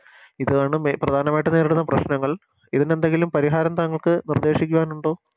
ഇതാണ് മെ പ്രധാനമായിട്ടും നേരിടുന്ന പ്രശ്നങ്ങൾ ഇതിനെന്തെങ്കിലും പരിഹാരം താങ്കൾക്ക് നിർദ്ദേശിക്കുവാനുണ്ടോ